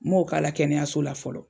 Ma o k'a la kɛnɛyaso la fɔlɔ.